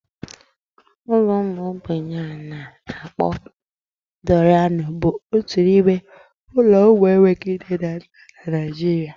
Ụlọ ụmụ ogbenye a na-akpọ Dọrianu bụ otu n'ime ụlọ ụmụ enweghị nne nọ na Naijiria.